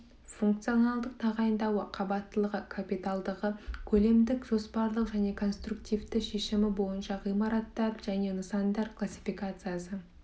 функционалдық тағайындауы қабаттылығы капиталдылығы көлемдік жоспарлық және конструктивті шешімі бойынша ғимараттар және нысандар классификациясы